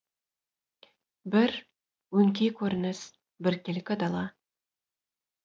бір өңкей көрініс біркелкі дала